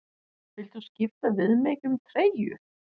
Viltu skipta við mig um treyju?